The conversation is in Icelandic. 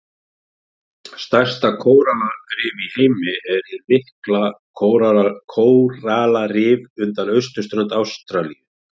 Stærsta kórallarif í heimi er hið mikla kóralrif undan austurströnd Ástralíu.